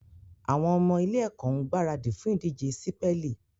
Àwọn ọmọ ilé-ẹ̀kọ́ ń gbaradì fún ìdíje sípẹ́lì